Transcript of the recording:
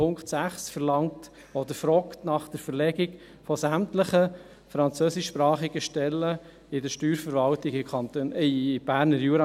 Punkt 6 verlangt oder fragt nach der Verlegung sämtlicher französischsprachiger Stellen der Steuerverwaltung in den Berner Jura.